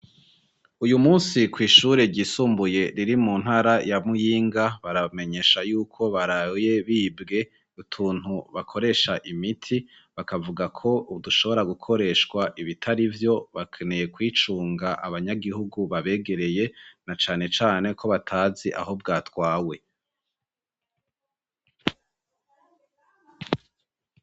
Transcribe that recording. Uyu munsi kw'ishure ryisumbuye riri mu ntara ya Muyinga baramenyesha yuko baraye bibwe gutuntu bakoresha imiti bakavuga ko udushobora gukoreshwa ibitari byo bakeneye kwicunga abanyagihugu babegereye na cane cane ko batazi aho bwatwawe.